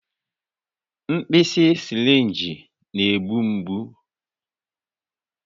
Mkpịsị sịrịnjị na-egbu mgbu